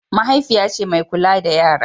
mahaifiya ce mai kula da yara